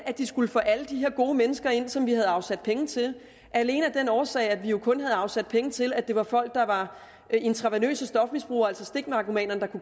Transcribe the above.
de skulle få alle de her gode mennesker ind som vi havde afsat penge til alene af den årsag at vi jo kun havde afsat penge til at det var til folk der var intravenøse stofmisbrugere altså stiknarkomaner